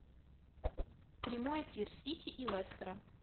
прямой эфир сити и лестера